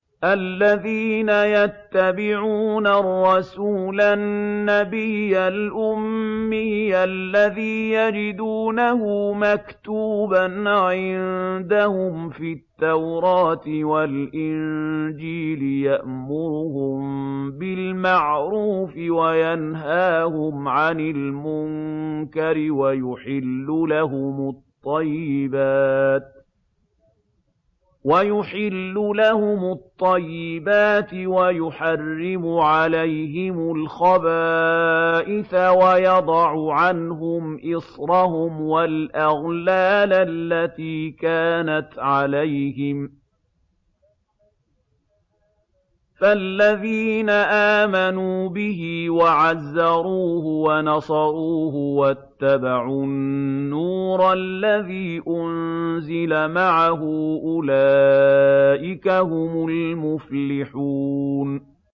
الَّذِينَ يَتَّبِعُونَ الرَّسُولَ النَّبِيَّ الْأُمِّيَّ الَّذِي يَجِدُونَهُ مَكْتُوبًا عِندَهُمْ فِي التَّوْرَاةِ وَالْإِنجِيلِ يَأْمُرُهُم بِالْمَعْرُوفِ وَيَنْهَاهُمْ عَنِ الْمُنكَرِ وَيُحِلُّ لَهُمُ الطَّيِّبَاتِ وَيُحَرِّمُ عَلَيْهِمُ الْخَبَائِثَ وَيَضَعُ عَنْهُمْ إِصْرَهُمْ وَالْأَغْلَالَ الَّتِي كَانَتْ عَلَيْهِمْ ۚ فَالَّذِينَ آمَنُوا بِهِ وَعَزَّرُوهُ وَنَصَرُوهُ وَاتَّبَعُوا النُّورَ الَّذِي أُنزِلَ مَعَهُ ۙ أُولَٰئِكَ هُمُ الْمُفْلِحُونَ